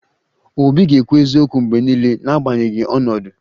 Obi ga-ekwu eziokwu mgbe niile, n'agbanyeghị ọnọdụ